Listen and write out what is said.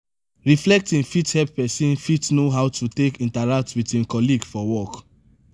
reflecting fit help person fit know how to take interact with im colleague for work